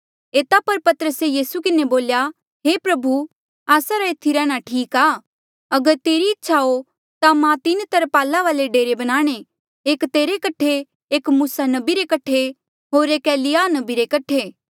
एता पर पतरसे यीसू किन्हें बोल्या हे प्रभु आस्सा रा एथी रैहणां ठीक आ अगर तेरी इच्छा हो ता मां तीन तरपाला वाले डेरे बनाणे एक तेरे कठे एक मूसा नबी रे कठे होर एक एलिय्याह नबी रे कठे